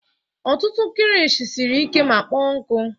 Ọtụtụ kilishi siri ike ma kpọọ nkụ.